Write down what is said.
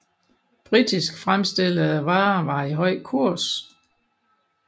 Britisk fremstillede varer var i høj kurs